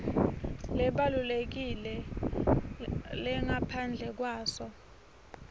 lesibalulekile lengaphandle kwaso